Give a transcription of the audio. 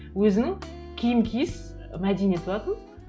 өзінің киім киіс мәдениеті бар тын